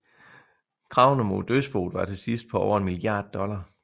Kravene mod dødsboet var til sidst på over en milliard dollar